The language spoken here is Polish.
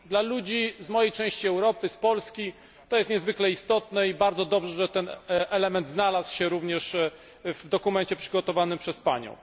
Dla ludzi z mojej części Europy z Polski jest to niezwykle istotne i bardzo dobrze, że ten element znalazł się również w dokumencie przygotowanym przez Panią.